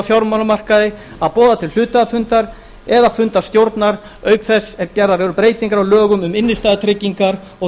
fjármálamarkaði að boða til hluthafafundar eða fundar stjórnar auk þess sem gerðar eru breytingar á lögum um innstæðutryggingar og